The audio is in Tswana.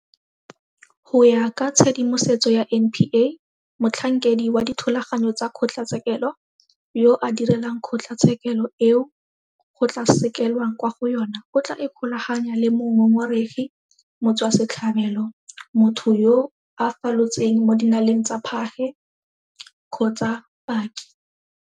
Go ya ka tshedimosetso ya NPA, motlhankedi wa dithulaganyo tsa kgotlatshekelo yo a direlang kgotlatshekelo eo go tla sekelwang kwa go yona o tla ikgolaganya le mongongoregi, motswasetlhabelo, motho yo a falotseng mo dinaleng tsa phage kgotsa paki.